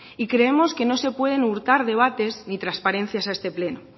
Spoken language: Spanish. y creemos que no se pueden hurtar debates ni transparencias a este pleno